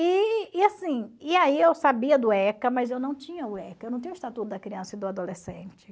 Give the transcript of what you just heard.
E e assim e aí eu sabia do ECA, mas eu não tinha o ECA, eu não tinha o Estatuto da Criança e do Adolescente.